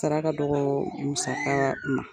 Saraka dɔgɔ musaka man.